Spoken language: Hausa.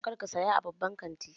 Kar ka saya a babban kantin!